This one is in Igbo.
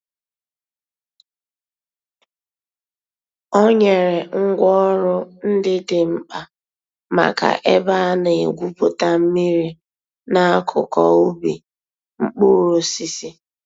Ọ̀ nyèrè ngwá òrụ̀ ńdí dị̀ m̀kpa mǎká èbè a nà-ègwùpùtà mmìrì n'àkùkò ǔbì mkpụrụ̀ òsísì.